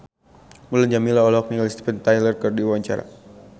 Mulan Jameela olohok ningali Steven Tyler keur diwawancara